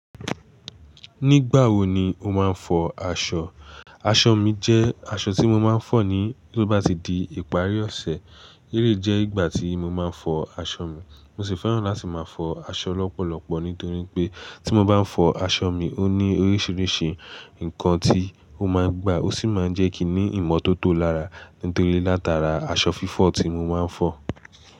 Nígbà wo ni o máa ń fọ aṣọ? Aṣọ mi jẹ́ aṣọ tí mo máa ń fọ ní tó bá ti di ìparí ọ̀sẹ̀. Eleyii jẹ́ ìgbà tí mo máa ń fọ aṣọ mi. Mo sì fẹ́ràn láti máa fọ aṣọ lọ́pọ̀lọpọ̀ nítorí pé tí mo bá ń fọ aṣọ mi, ó ní oríṣiríṣi nǹkan tí ó máa ń gbà. Ó sì máa ń jẹ́ kí i ní ìmọ́tótó lára nítorí látara aṣọ fífọ̀ tí mo máa ń fọ.